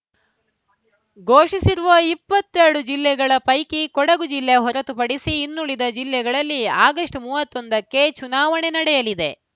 ಘೋಷಿಸಿರುವ ಇಪ್ಪತ್ತೆಲ್ ಡು ಜಿಲ್ಲೆಗಳ ಪೈಕಿ ಕೊಡಗು ಜಿಲ್ಲೆ ಹೊರತುಪಡಿಸಿ ಇನ್ನುಳಿದ ಜಿಲ್ಲೆಗಳಲ್ಲಿ ಆಗಸ್ಟ್ ಮೂವತ್ತ್ ಒಂದ ಕ್ಕೆ ಚುನಾವಣೆ ನಡೆಯಲಿದೆ